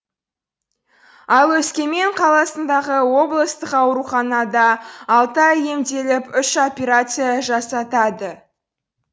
ол өскемен қаласындағы облыстық ауруханада алты ай емделіп үш операция жасатады